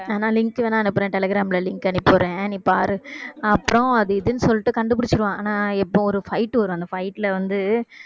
நா வேணா link வேணா அனுப்புறேன் டெலிகிராம்ல link அனுப்பி விடுறேன் நீ பாரு அப்புறம் அது இதுன்னு சொல்லிட்டு கண்டுபிடிச்சிடுவான் ஆனால் எப்ப ஒரு fight வரும் அந்த fight ல வந்து